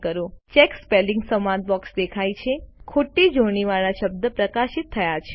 check spelling સંવાદ box દેખાય છે ખોટી જોડણીવાળા શબ્દ પ્રકાશિત થાય છે